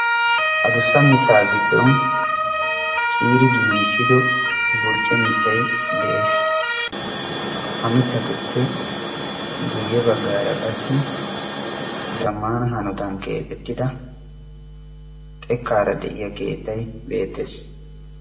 adussa mittaa giiddon ciiri giigissido burcce miittay de"ees. ha mittatuppe guyye baggaara qassi zammaana hanootan keexetida xeekkaara de'iyaa keettay beettees.